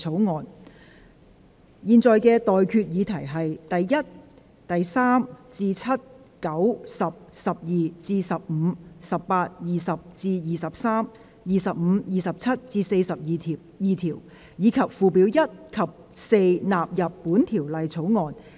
我現在向各位提出的待決議題是：第1、3至7、9、10、12至15、18、20至23、25、27至42條，以及附表1及4納入本條例草案。